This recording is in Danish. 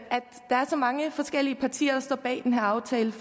der er så mange forskellige partier der står bag den her aftale